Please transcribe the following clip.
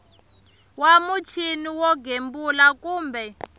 wa muchini wo gembula kumbe